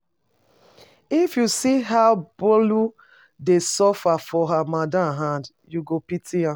If you see how Bolu dey suffer for her madam hand, you go pity am